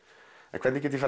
en hvernig get ég